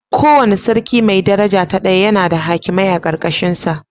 Kowane Sarki mai daraja ta daya yana da hakimai a ƙarƙashinsa.